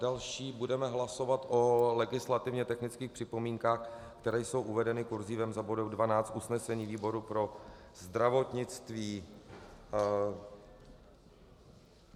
Další budeme hlasovat o legislativně technických připomínkách, které jsou uvedeny kurzívou za bodem 12 usnesení výboru pro zdravotnictví.